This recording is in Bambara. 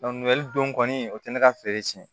don kɔni o tɛ ne ka feere cɛnɛn ye